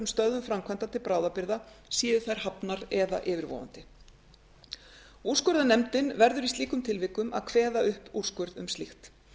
stöðvun framkvæmda til bráðabirgða séu þær hafnar eða yfirvofandi úrskurðarnefndin verður í slíkum tilvikum að kveða upp úrskurð um slíkt